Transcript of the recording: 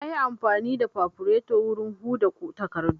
Na yi amfani da fafureto wurin huda takardu